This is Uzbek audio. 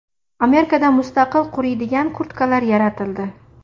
Amerikada mustaqil quriydigan kurtkalar yaratildi.